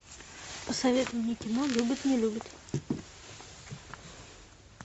посоветуй мне кино любит не любит